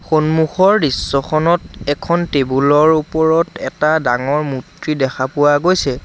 সন্মুখৰ দৃশ্যখনত এখন টেবুল ৰ ওপৰত এটা ডাঙৰ মূৰ্ত্তি দেখা পোৱা গৈছে।